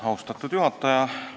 Austatud juhataja!